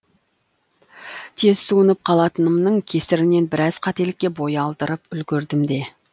тез суынып қалатынымның кесірінен біраз қателікке бой алдырып үлгердім де